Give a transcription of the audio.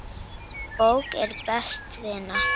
Bók er best vina.